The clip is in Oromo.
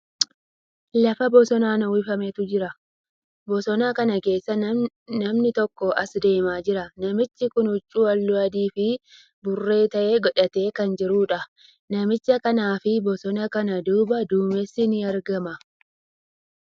Lafa bosonaan uwwifametu jira. Bosona kana keessa namni tokko as deemaa jira. Namichi kuni huccuu haalluu adii fii bulee ta'e godhatee kan jiruudha. Namicha kanaa fii bosona kana duuba duumessi ni argama.